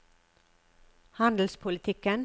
handelspolitikken